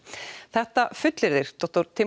þetta fullyrðir